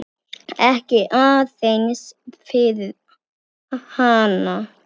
Ekki aðeins fyrir hana.